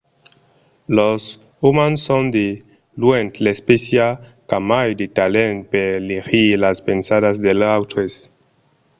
los umans son de luènh l'espècia qu'a mai de talent per legir las pensadas dels autres